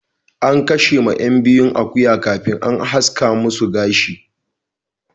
An kashe ma yan biyun akuya kafin an haska masu gashi.